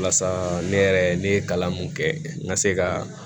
Walasa ne yɛrɛ ne ye kalan mun kɛ n ka se ka